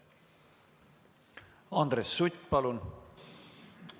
Andres Sutt, palun!